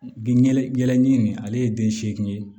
Binyɛlɛ ni nin ale ye den seegin ye